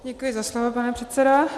Děkuji za slovo, pane předsedo.